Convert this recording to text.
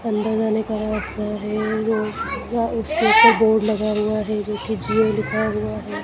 अंदर आने का रास्ता है वो वहाँ उस स्टॉप पे बोर्ड लगा हुआ है जो कि जिम लिखा हुआ है।